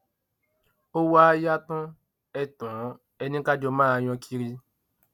ó wàá yá tàn ẹ tàn ẹ ni ká jọ máa yan kiri